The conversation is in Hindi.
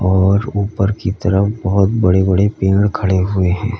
और ऊपर की तरफ बहोत बड़े बड़े पेड़ खड़े हुए हैं।